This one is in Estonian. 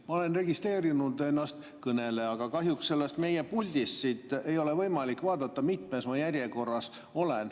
Ma olen registreerinud ennast kõnelejana, aga kahjuks siit, meie puldist ei ole võimalik vaadata, mitmes ma järjekorras olen.